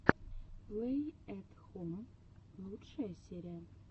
плэй эт хом лучшая серия